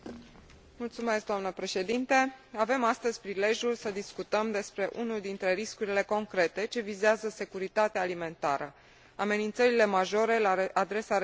Avem astăzi prilejul să discutăm despre unul dintre riscurile concrete ce vizează securitatea alimentară amenințările majore la adresa rezervelor de pește la nivel global.